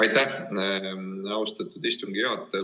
Aitäh, austatud istungi juhataja!